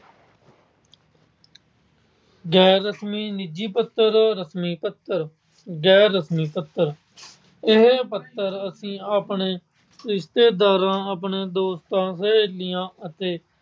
ਗੈਰ-ਰਸਮੀ ਨਿੱਜੀ ਪੱਤਰ, ਰਸਮੀ ਪੱਤਰ। ਗੈਰ-ਰਸਮੀ ਪੱਤਰ- ਇਹ ਪੱਤਰ ਅਸੀਂ ਆਪਣੇ ਰਿਸ਼ਤੇਦਾਰਾਂ, ਆਪਣੇ ਦੋਸਤਾਂ, ਸਹੇਲੀਆਂ ਅਤੇ